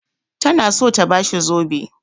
Tana so ta ba shi zobe.